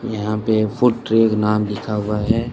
यहां पे फुट ट्रेग नाम लिखा हुआ है।